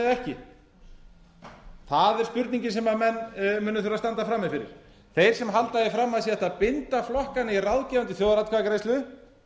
það er spurningin sem menn munu þurfa að standa frammi fyrir þeir sem halda því fram að hægt sé að binda flokkana í ráðgefandi þjóðaratkvæðagreiðslu